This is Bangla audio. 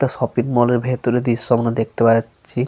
একটা শপিং মল -এর ভিতরের দৃশ্য় গুলো দেখতে পাওয়া যাচ্ছি ।